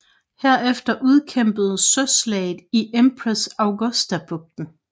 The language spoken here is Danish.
Herefter udkæmpedes Søslaget i Empress Augusta bugten